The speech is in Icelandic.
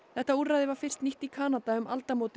þetta úrræði var fyrst nýtt í Kanada um aldamót